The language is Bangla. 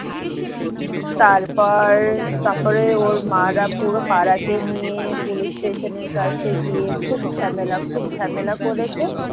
তার পর তারপরে ওর মারা পুরো পাড়াকে নিয়ে পুলিশ station এর কাছে গিয়ে খুব ঝামেলা খুব ঝামেলা করেছে।